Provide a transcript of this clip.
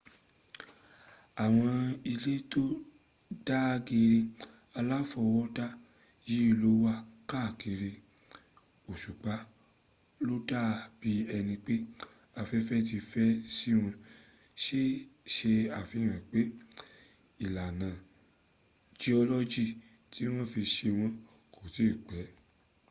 àwọn ilẹ̀ tó dàgẹ̀ẹ̀rẹ̀ aláfọwọ́dá yìí ló wà káàkiri òsùpa\ ló dà bí ẹni pé afẹ́fẹ́ ti fẹ́ síwọn se àfihàn pé ìlànà jiọ́lọ́jì tí wọ́n fi se wọ́n kò tí ì pẹ́